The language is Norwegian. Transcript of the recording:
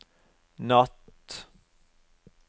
natt